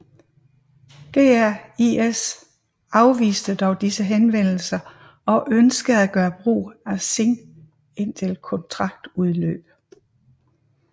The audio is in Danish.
GAIS afviste dog disse henvendelser og ønskede at gøre brug af Singh indtil kontraktudløb